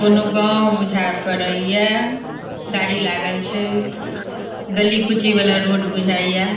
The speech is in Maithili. दोनों गांव बुझाए पड़िये। गाडी लागल छे। गली कूची वाला रोड बुझाये।